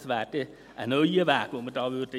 Es wäre ein neuer Weg, den wir einschlagen würden.